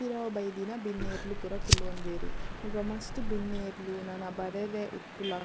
ಪಿರವು ಬೈದಿನ ಬಿನ್ನೆರ್ಲ್ ಪೂರ ಕುಲೊನ್ವೆರ್ ಮುಲ್ಪ ಮಸ್ತ್ ಬಿನ್ನೆರ್ಲ್ ನನ ಬರೆರೆ ಇಪ್ಪುಲ.